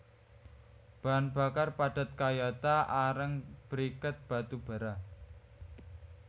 Bahan bakar padat kayata areng briket batu bara